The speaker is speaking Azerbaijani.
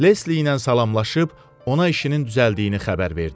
Lesli ilə salamlaşıb ona işinin düzəldiyini xəbər verdi.